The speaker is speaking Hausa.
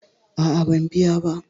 A'a, ban biya ba.